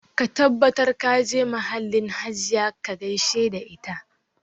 Ka tabbatar ka je mahallin Hajiya ka gaishe da ita